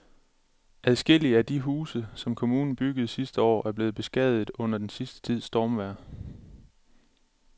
Adskillige af de huse, som kommunen byggede sidste år, er blevet beskadiget under den sidste tids stormvejr.